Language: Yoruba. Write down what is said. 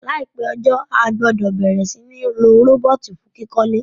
Láìpé ojó, a gbúdò bẹ̀rẹ̀ si ni lo robot fun kíkólé